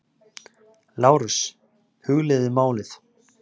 LÁRUS: Hugleiðið málið!